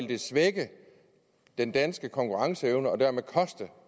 vil svække den danske konkurrenceevne og dermed koste